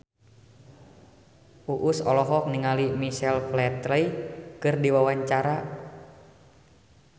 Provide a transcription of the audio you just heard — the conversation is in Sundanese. Uus olohok ningali Michael Flatley keur diwawancara